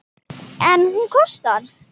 En hún kostar.